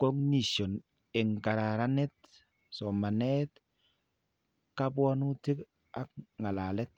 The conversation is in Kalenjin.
cognition ke kararaniti somanet, kabwatutik ak ng'alalet.